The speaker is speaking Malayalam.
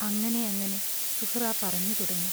അങ്ങനെയങ്ങനെ സുഹ്റാ പറഞ്ഞു തുടങ്ങി.